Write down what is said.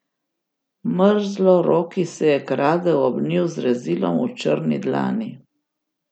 Mrzloroki se je kradel ob njiju z rezilom v črni dlani.